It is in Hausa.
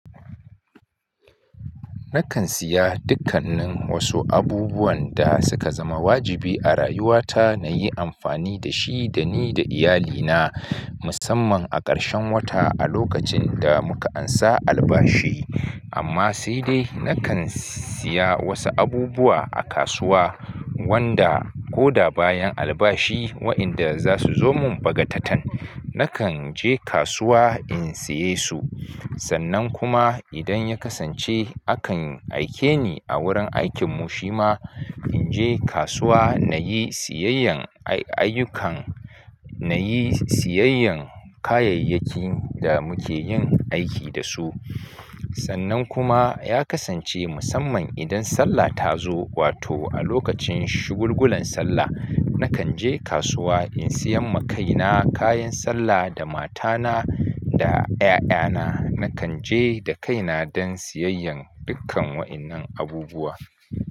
Nakan siya dukkanin wasu abubuwan da suka zama wajibi a rayuwata, nayi amfani dashi da ni da iyalina musamman a ƙarshen wata a lokacin da muka ansa albashi. Amma sai dai nakan siya wasu abubuwa a kasuwa wanda koda bayan albashi wa'inda zasu zo mun baga tatan. Nakan je kasuwa in siye su. Sannan kuma idan ya kasance akan aike ni a wurin aikin mu shima, inje kasuwa nayi siyayyan aiyukan nayi siyayyan kayayyakin da muke yin aiki dasu. Sannan kuma ya kasance musamman idan sallah ta zo, wato a lokacin shugulgunan sallah, nakan je kasuwa in siya ma kaina kayan sallah da matana da 'ya'yana. Nakan je da kaina don siyayyan dukkan wa'innan abubuwa.